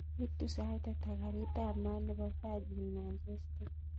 Itu sait ata karit ap maat nepo virgin manchester